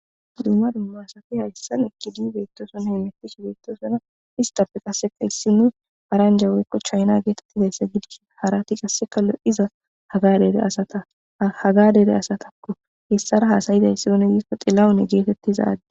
Dumma dumma asati haysan eqidi betosona, hemetishe betosona, qase issiny paranja woyko china getetizaysa gidishn harati qase lo'za haga dere asatako , hesara hada'izaysi oone gikoni xilahune getetiza...